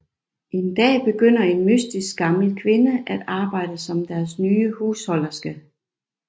En dag begynder en mystisk gammel kvinde at arbejde som deres nye husholderske